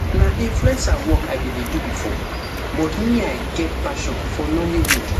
na influencer work i bin dey do bifor but me i get passion for nollywood